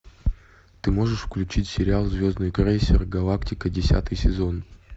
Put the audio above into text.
ты можешь включить сериал звездный крейсер галактика десятый сезон